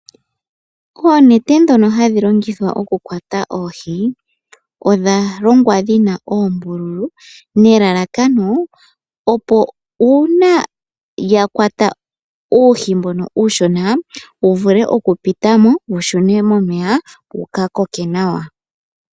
Oonete ndhono hadhi longithwa oku kwata oohii, odha longwa dhina oombululu, nelalakano opo uuna yakwata uuhi mbono uushona wuvule oku pitamo wushune momeya , wuka koke nawa.